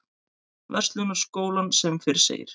Verslunarskólann sem fyrr segir.